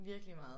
Virkelig meget